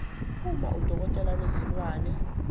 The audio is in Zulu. uma udokotela wezilwane